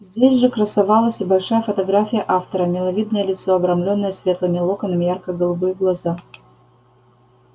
здесь же красовалась и большая фотография автора миловидное лицо обрамленное светлыми локонами ярко-голубые глаза